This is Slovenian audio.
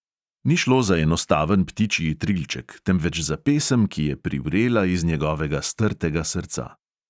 Ni šlo za enostaven ptičji trilček, temveč za pesem, ki je privrela iz njegovega strtega srca.